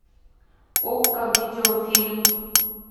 окко видеофильм